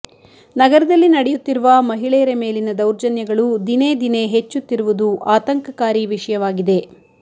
ನಗರದಲ್ಲಿ ನಡೆಯುತ್ತಿರುವ ಮಹಿಳೆಯರ ಮೇಲಿನ ದೌರ್ಜನ್ಯಗಳು ದಿನೇದಿನೇ ಹೆಚ್ಚುತ್ತಿರುವುದು ಆತಂಕಕಾರಿ ವಿಷಯಯಾಗಿದೆ